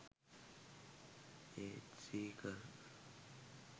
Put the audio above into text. ඒත් සීකර්